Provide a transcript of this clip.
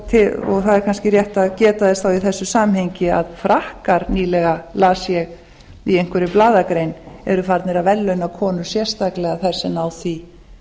það er kannski rétt að geta þess þá í þessu samhengi að frakkar las ég nýlega í einhverri blaðagrein eru farnir að verðlauna konur sérstaklega sem